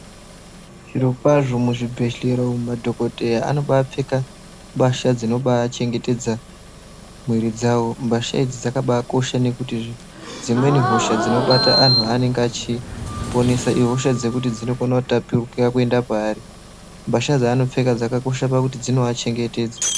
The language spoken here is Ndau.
Zvirokwazvo muzvibhehlera umu madhokodheya anobapfeka mbasha dzinobachengetedza mwiri dzawo. Mbasha idzi dzakabakosha nekuti dzimweni hosha dzinobata anhu anenge achiponesa ihosha dzekuti dzinokona kutapukira kuenda paari. Mbasha dzaanopfeka dzakakosha pakuti dzino achengetedza.